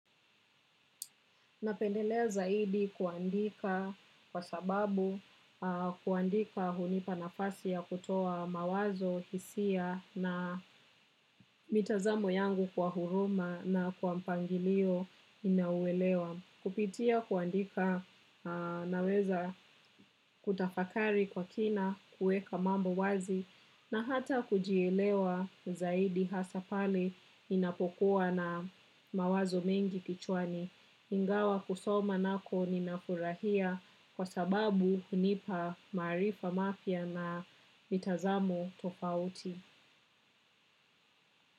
Napendelea zaidi kuandika kwa sababu kuandika hunipa nafasi ya kutoa mawazo hisia na mitazamo yangu kwa huruma na kwa mpangilio inauelewa. Kupitia kuandika naweza kutafakari kwa kina kueka mambo wazi na hata kujielewa zaidi hasa pale inapokuwa na mawazo mengi kichwani. Ingawa kusoma nako ninafurahia kwa sababu hunipa maarifa mafya na mitazamo tofauti.